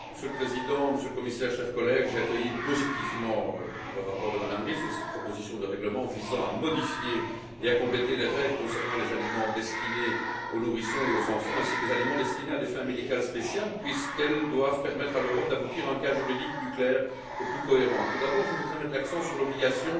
Monsieur le Président, Monsieur le Commissaire, chers collègues, j'ai accueilli positivement le rapport de Mme Ries, donc la proposition de règlement visant à modifier et à compléter les règles concernant les aliments destinés aux nourrissons et aux enfants, ainsi que les aliments destinés à des fins médicales spéciales, puisque ce texte doit permettre à l'Europe d'aboutir à un cadre juridique plus clair et plus cohérent. Tout d'abord, je voudrais mettre l'accent sur l'obligation